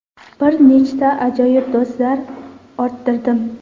Bir nechta ajoyib do‘stlar orttirdim!